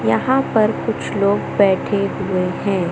यहां पर कुछ लोग बैठे हुए हैं।